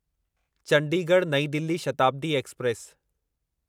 चंडीगढ़ नईं दिल्ली शताब्दी एक्सप्रेस